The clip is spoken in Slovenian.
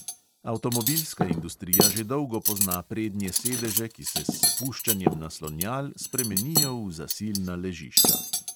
Avtomobilska industrija že dolgo pozna prednje sedeže, ki se s spuščanjem naslonjal spremenijo v zasilna ležišča.